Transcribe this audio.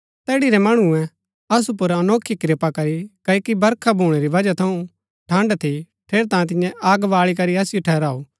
तैड़ी रै मणुऐ असु पुर अनोखी कृपा करी क्ओकि बरखा भूणै री वजह थऊँ ठण्ड़ थी ठेरैतांये तिन्ये अग बाळी करी असिओ ठहराऊ